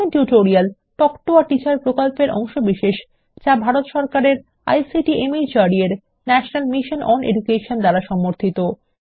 spoken tutorial talk to a teacher প্রকল্পের অংশবিশেষ যা ভারত সরকারের আইসিটি মাহর্দ এর ন্যাশনাল মিশন ওন এডুকেশন দ্বারা সমর্থিত